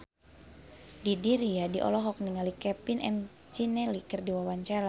Didi Riyadi olohok ningali Kevin McNally keur diwawancara